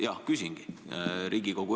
Jah, küsingi.